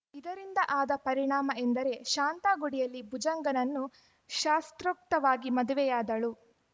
ಇದರಿಂದ ಆದ ಪರಿಣಾಮ ಎಂದರೆ ಶಾಂತಾ ಗುಡಿಯಲ್ಲಿ ಭುಜಂಗನನ್ನು ಶಾಸೊತ್ರೕಕ್ತವಾಗಿ ಮದುವೆಯಾದಳು